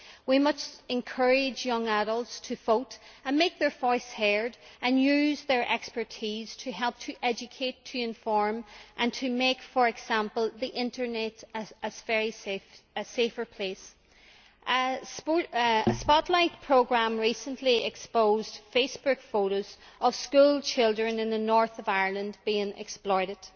We must encourage young adults to vote and make their voice heard, and use their expertise to help to educate, to inform and to make, for example, the internet a safer place. A Spotlight programme recently exposed Facebook photos of schoolchildren in the North of Ireland being exploited.